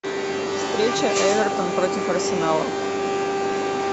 встреча эвертон против арсенала